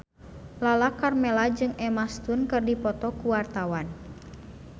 Lala Karmela jeung Emma Stone keur dipoto ku wartawan